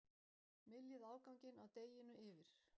Myljið afganginn af deiginu yfir.